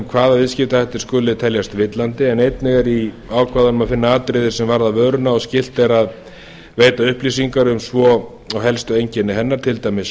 hvaða viðskiptahættir skuli teljast villandi en einnig er í ákvæðunum að finna atriði sem varða vöruna og skylt er að veita upplýsingar um svo og helstu einkenni hennar til dæmis